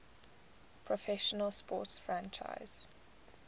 professional sports franchise